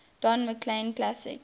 don mclean classics